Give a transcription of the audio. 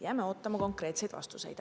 Jääme ootama konkreetseid vastuseid.